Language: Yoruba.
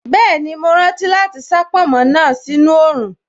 Bẹ́ẹ̀ni, mo rántí láti sá pònmó náà sí inú oòrùn